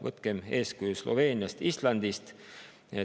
Võtkem eeskuju Sloveeniast ja Islandist.